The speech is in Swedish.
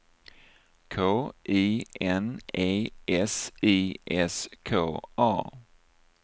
K I N E S I S K A